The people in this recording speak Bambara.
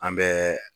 An bɛ